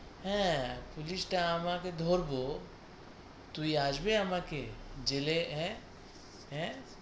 হ্যাঁ, পুলিশ টা আমাকে ধরব, তুই আসবে আমাকে জেলে আঁ আঁ।